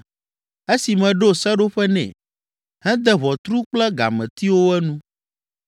esi meɖo seɖoƒe nɛ, hede ʋɔtru kple gametiwo enu,